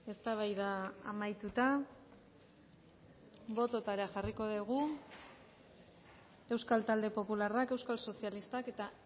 eztabaida amaituta bototara jarriko dugu euskal talde popularrak euskal sozialistak eta